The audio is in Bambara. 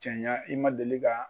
cɛɲa i ma deli ka.